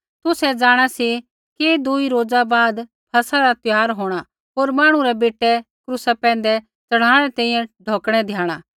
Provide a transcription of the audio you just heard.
तुसै जाँणा सी कि दूई रोज़ा बाद फसह रा त्यौहार होंणा होर मांहणु रै बेटै यीशु क्रूसा पैंधै च़ढ़ाणै री तैंईंयैं ढौकणै द्याइणा